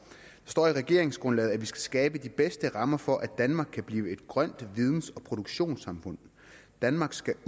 står i regeringsgrundlaget at vi skal skabe de bedste rammer for at danmark kan blive et grønt videns og produktionssamfund danmark skal